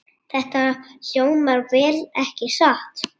Þetta hljómar vel, ekki satt?